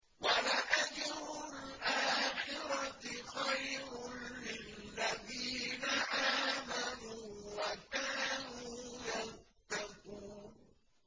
وَلَأَجْرُ الْآخِرَةِ خَيْرٌ لِّلَّذِينَ آمَنُوا وَكَانُوا يَتَّقُونَ